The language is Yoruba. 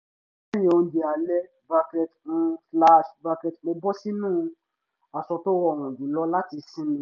lẹ́yìn oúnjẹ alẹ́ bracket um slash bracket mo bọ́ sínú aṣọ tó rọrùn jùlọ láti sinmi